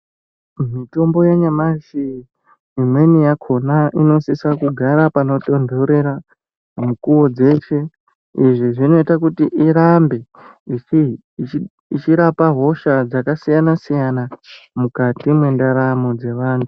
Mitombo yanyamashi imweni yakona inosise kugara panotondorera mukuwo dzeshe izvi zvinoite kuti irambe ichirapa hosha dzakasiyana siyana mukati mwendaramo dzevanthu.